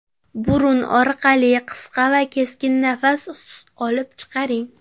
Burun orqali qisqa va keskin nafas olib, chiqaring.